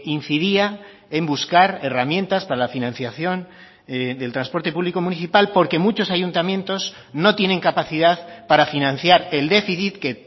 incidía en buscar herramientas para la financiación del transporte público municipal porque muchos ayuntamientos no tienen capacidad para financiar el déficit que